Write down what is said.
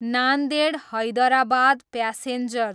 Nanded, Hyderabad passenger